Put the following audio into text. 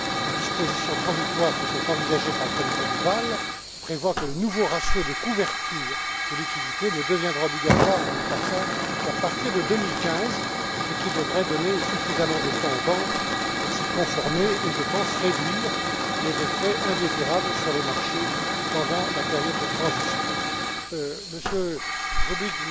Les dispositions transitoires qui sont envisagées par le comité de Bâle prévoient que le nouveau ratio de couverture de liquidités ne deviendra obligatoire, Madame Kratsa Tsagaropoulou, qu'à partir de 2015, ce qui devrait donner suffisamment de temps aux banques pour s'y conformer et réduire, je pense, les effets indésirables sur les marchés pendant la période de transition. Monsieur Rubig,